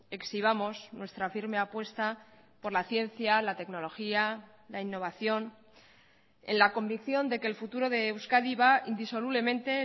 exhibamos nuestra firme apuesta por la ciencia la tecnología la innovación en la convicción de que el futuro de euskadi va indisolublemente